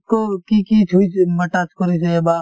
কত কি কি থৈছে touch কৰিছে বা